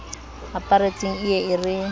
aparetseng e ye e re